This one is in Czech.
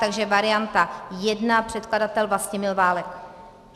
Takže varianta 1 - předkladatel Vlastimil Válek.